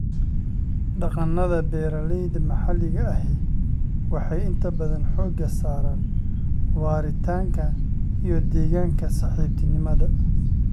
Dhaqannada beeralayda maxalliga ahi waxay inta badan xoogga saaraan waaritaanka iyo deegaanka-saaxiibtinimada.